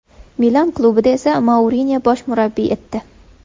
Milan klubida esa Mourinyo bosh murabbiy etdi.